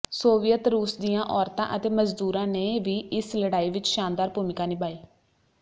Soviet ਰੂਸ ਦੀਆਂ ਔਰਤਾਂ ਅਤੇ ਮਜ਼ਦੂਰਾਂ ਨੇ ਵੀ ਇਸ ਲੜਾਈ ਵਿੱਚ ਸ਼ਾਨਦਾਰ ਭੂਮਿਕਾ ਨਿਭਾਈ